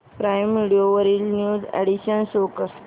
prime video वरील new additions show कर